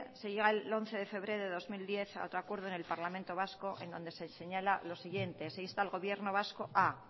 se llega al once de febrero de dos mil diez a otro acuerdo en el parlamento vasco en donde se señala lo siguiente se insta al gobierno vasco a